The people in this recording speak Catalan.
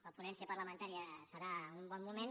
la ponència parlamentària serà un bon moment